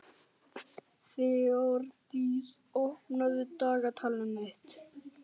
Þeódís, opnaðu dagatalið mitt.